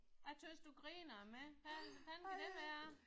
Jeg synes du griner af mig. Hvad hvordan kan det være?